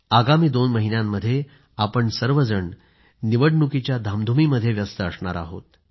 आगामी दोन महिन्यामध्ये आपण सर्वजण निवडणुकीच्या धामधुमीमध्ये व्यस्त असणार आहोत